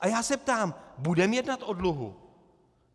A já se ptám: Budeme jednat o dluhu?